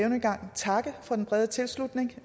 en gang takke for den brede tilslutning til